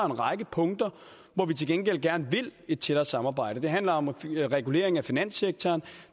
række punkter hvor vi til gengæld gerne vil et tættere samarbejde det handler om reguleringen af finanssektoren